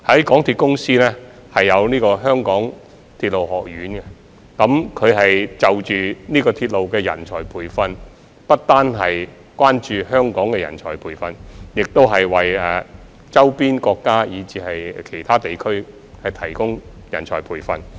港鐵公司設有港鐵學院，提供鐵路人才培訓，他們不單關注香港人才培訓，也為周邊地區及國家提供人才培訓。